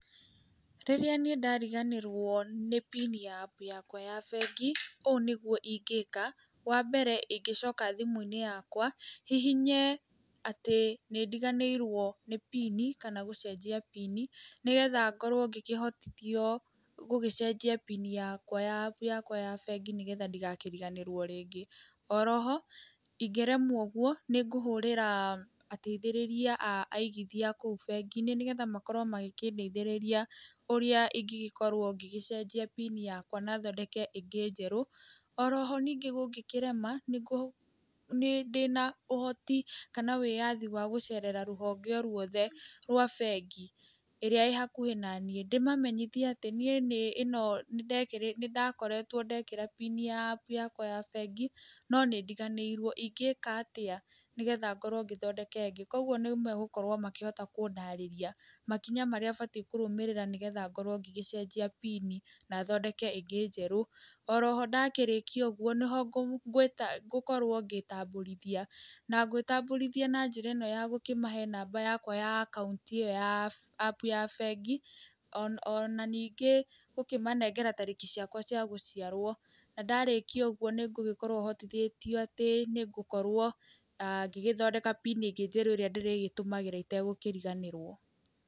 Rĩrĩa niĩ ndariganĩrwo nĩ PIN ya APP yakwa ya bengi ũũ nĩguo ingĩka. Wa mbere ingĩcoka thimu-inĩ yakwa hihinye atĩ nĩ ndiganĩrwo nĩ PIN kana gũcenjia PIN nĩgetha ngorwo ngĩkĩhotithio gũgĩcenjia PIN yakwa ya APP yakwa ya bengi nĩgetha ndigakĩriganĩrwo rĩngĩ. Oroho ingeremwo ũguo nĩ ngũhũrĩra ateithĩrĩria a aigithia a kũu bengi-inĩ nĩgetha makorwo magĩkĩndeithĩrĩria ũrĩa ingĩgĩkorwo ngĩgĩcenjĩa PIN yakwa na thondeke ĩngĩ njeru. Oroho ningĩ gũngĩkĩrema ndĩna ũhoti kana wĩyathi wa gũcerera rũhonge o rwothe rwa bengi ĩrĩa ĩrĩhakuhi naniĩ ndĩmamenyithie atĩ niĩ ĩno nĩndekĩrĩte nĩndakoretwo ndekĩra PIN ya APP yakwa ya bengi no nĩ ndĩganĩrwo, ingĩka atĩa nĩgetha ngorwo ngĩthondeka ĩngĩ, kogũo nĩmegũkorwo makĩhota kũndarĩria makinya marĩa batiĩ nĩgetha ngorwo ngĩgĩcenjia PIN na thondeke ĩngĩ njerũ. Oroho ndakĩrĩkia ũguo nĩho ngũkorwo ngĩĩtambũrithia na ngwĩtambũrithia na njĩra ĩno ya gũkĩmahe namba yakwa ya akaunti ĩyo ya APP ya bengi.O na ningĩ gũkĩmanengera tarĩki ciakwa cia gũciarwo na ndarakia ũguo, nĩ ngũgĩkorwo hotithĩtio atĩ nĩ ngũkorwo ngĩgĩthondeka PIN ĩngĩ njerũ ĩrĩa ndĩrĩgĩtũmagira itegũkĩriganĩrwo.